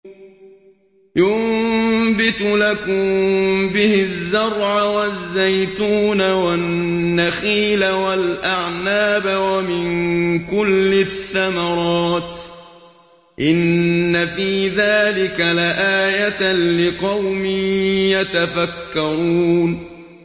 يُنبِتُ لَكُم بِهِ الزَّرْعَ وَالزَّيْتُونَ وَالنَّخِيلَ وَالْأَعْنَابَ وَمِن كُلِّ الثَّمَرَاتِ ۗ إِنَّ فِي ذَٰلِكَ لَآيَةً لِّقَوْمٍ يَتَفَكَّرُونَ